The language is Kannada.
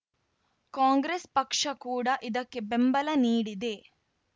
ಕಾಂಗ್ರೆಸ್‌ ಪಕ್ಷ ಕೂಡ ಇದಕ್ಕೆ ಬೆಂಬಲ ನೀಡಿದೆ